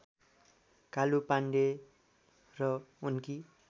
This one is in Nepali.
कालु पाँडे र उनकी